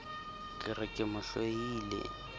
ke re ke mo hloile